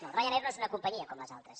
no ryanair no és una companyia com les altres